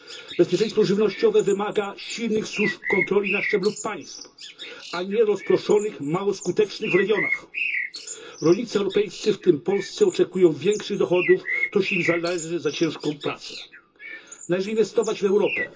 Bezpieczeństwo żywnościowe wymaga silnych służb kontroli na szczeblu państw, a nie rozproszonych, mało skutecznych w regionach. Rolnicy europejscy, w tym polscy, oczekują większych dochodów, które im się należą za ich ciężką pracę. Należy inwestować w Europę.